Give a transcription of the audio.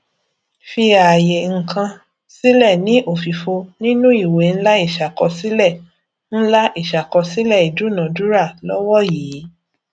fi àyè ǹkan sílẹ ní òfìfo nínú ìwé ńlá ìṣàkọsílẹ ńlá ìṣàkọsílẹ ìdúnadúrà lọwọ yìí